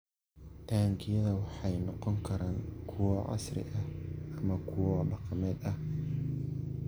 Taangiyada waxay noqon karaan kuwo casri ah ama kuwo dhaqameed.